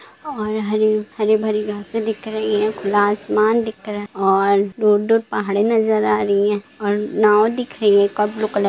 और हरी-हरी भरी घासे दिख रही हैं खुला आसमान दिख रहा है और दूर-दूर पहाड़े नजर आ रही है और नाव दिख रही है एक और ब्लू कलर --